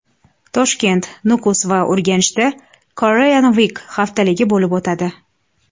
Toshkent, Nukus va Urganchda Korean Week haftaligi bo‘lib o‘tadi.